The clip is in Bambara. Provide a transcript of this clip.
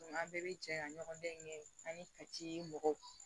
An bɛɛ bɛ jɛ ka ɲɔgɔndɛɲɛ kɛ an ni ka ci mɔgɔw